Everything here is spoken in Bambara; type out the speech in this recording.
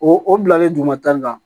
O o bilalen duguma ta in na